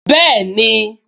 Bẹ́ẹ̀ni